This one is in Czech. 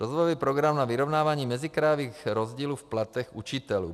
Rozvojový program na vyrovnávání mezikrajových rozdílů v platech učitelů.